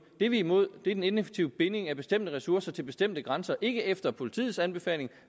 det vi er imod er den ineffektive binding af bestemte ressourcer til bestemte grænser ikke efter politiets anbefaling